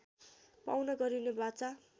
पाउन गरिने वाचा